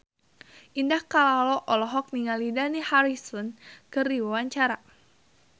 Indah Kalalo olohok ningali Dani Harrison keur diwawancara